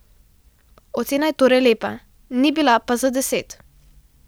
Ocena je torej lepa, ni bila pa za deset.